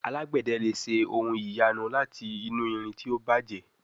Alágbède lẹ ṣe ohùn ìyanu láti inú ìrìn tí o bàjé